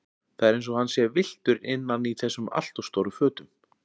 Það er eins og hann sé villtur innan í þessum alltof stóru fötum.